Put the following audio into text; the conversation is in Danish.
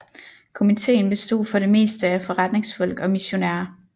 Komiteen bestod for det meste af forretningsfolk og missionærer